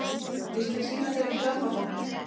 Ég skal sýna þér grammófóninn!